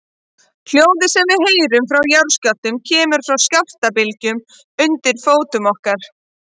Hljóðið sem við heyrum frá jarðskjálftum kemur frá skjálftabylgjunum undir fótum okkar.